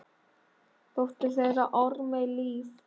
Dóttir þeirra: Ármey Líf.